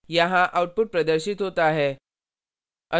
यहाँ output प्रदर्शित होता है